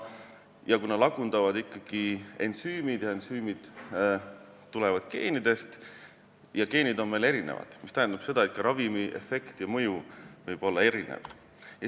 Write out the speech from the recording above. Kuna aga molekule lagundavad ikkagi ensüümid, ensüümid tulevad geenidest ja geenid on meil erinevad, siis see tähendab seda, et ka ravimi efekt ja mõju võib olla erinev.